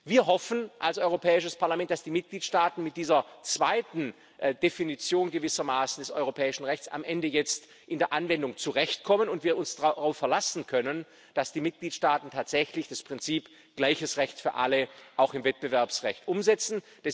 Wir hoffen als Europäisches Parlament, dass die Mitgliedstaaten mit dieser gewissermaßen zweiten Definition des europäischen Rechts jetzt in der Anwendung zurechtkommen und wir uns darauf verlassen können, dass die Mitgliedstaaten tatsächlich das Prinzip gleiches Recht für alle auch im Wettbewerbsrecht umsetzen.